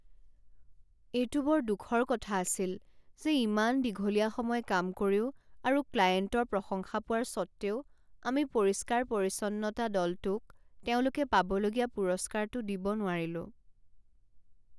এইটো বৰ দুখৰ কথা আছিল যে ইমান দীঘলীয়া সময় কাম কৰিও আৰু ক্লায়েণ্টৰ প্ৰশংসা পোৱাৰ স্বত্ত্বেও আমি পৰিষ্কাৰ পৰিচ্ছন্নতা দলটোক তেওঁলোকে পাবলগীয়া পুৰস্কাৰটো দিব নোৱাৰিলোঁ।